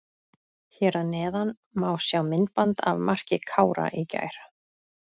Hér að neðan má sjá myndband af marki Kára í gær.